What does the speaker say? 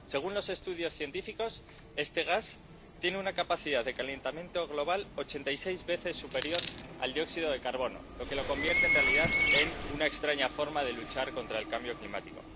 Según los estudios científicos, este gas tiene una capacidad de calentamiento global ochenta y seis veces superior al dióxido de carbono, lo que lo convierte en realidad en una extraña forma de luchar contra el cambio climático.